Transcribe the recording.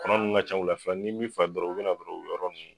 Kɔnɔ ninnu ka ca u la fana n'i m'i farati dɔrɔn u bɛna dɔrɔn u bɛ yɔrɔ ninnu